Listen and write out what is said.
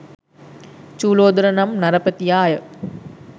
චූලෝදර නම් නරපතියාය.